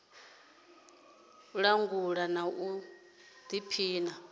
u langula na u pima